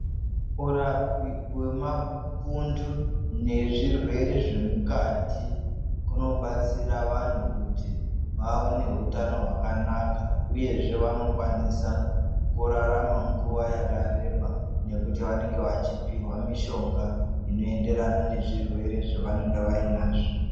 Urapi wemapundu nezvirwere zvemukati kunobatsira vandu kuti vavenehutano hwakanaka uyezve vanokwanisa kurarama nguva yakareba nekuti vanenge vachipuhwa mushonga unoenderana nezvirwere zvavange vainazvo